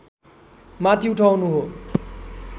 माथि उठाउनु हो